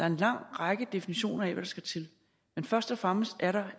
en lang række definitioner af hvad der skal til men først og fremmest er der